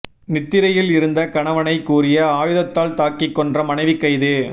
நித்திரையில் இருந்த கணவனை கூரிய ஆயுதத்தால் தாக்கி கொன்ற மனைவி கைது